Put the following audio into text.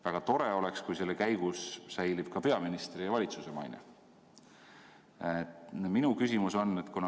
Väga tore oleks, kui selle käigus säiliks ka peaministri ja valitsuse maine.